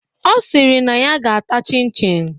Ọ sịrị na ya ga-ata chin chin